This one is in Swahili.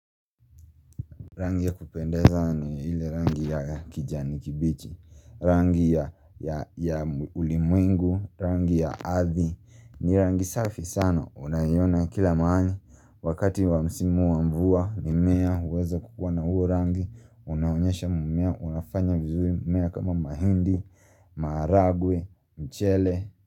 Rangi ya kupendeza ni ile rangi ya kijani kibichi, rangi ya ulimwengu, rangi ya ardhi, ni rangi safi sana, unaiona kila mahani, wakati wa msimu wa mvua, mimea, uweza kukuwa na huo rangi, unaonyesha mumea, unafanya vizuri, mmea kama mahindi, maharagwe, mchele.